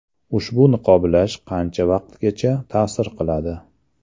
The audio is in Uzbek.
Ushbu niqoblash qancha vaqtgacha ta’sir qiladi?